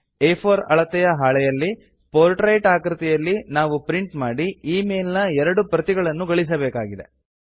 ಆ4 ಅಳತೆಯ ಹಾಳೆಯಲ್ಲಿ portrait ನ ಆಕೃತಿಯಲ್ಲಿ ನಾವು ಪ್ರಿಂಟ್ ಮಾಡಿ ಈ ಮೇಲ್ ನ ಎರಡು ಪ್ರತಿಗಳನ್ನು ಗಳಿಸಬೇಕಾಗಿದೆ